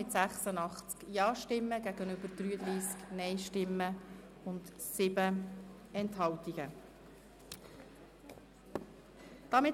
Wir haben diese Gesetzesänderung mit 86 Ja- gegenüber 33 Nein-Stimmen und 7 Enthaltungen angenommen.